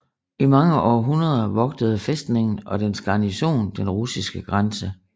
I mange århundreder vogtede fæstningen og dens garnison den russiske grænse